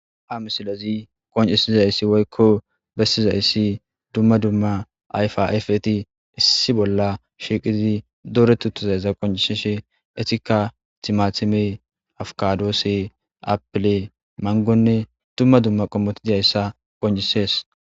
Ha misilezi qoncisizayssi woykko bessizayssi dumma dumma ayfaafeti issi bolla shiiqizi dore tu tuzayza qoncisishe etika timatime afkadoose apile mangonne dumma dumma qommoti diyayssa qoncisees.